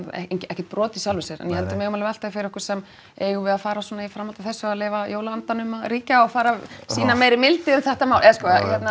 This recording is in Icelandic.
ekkert brot í sjálfu sér en ég held að við megum alveg velta því fyrir okkur samt eigum við að fara svona í framhaldi af þessu að leyfa jólaandanum að ríkja og fara að sýna meiri mildi um þetta mál eða sko hérna